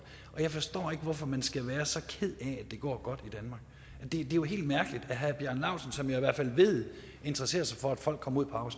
og jeg forstår ikke hvorfor man skal være så ked af at det går godt i danmark det er jo helt mærkeligt at herre bjarne laustsen som jeg i hvert fald ved interesserer sig for at folk kommer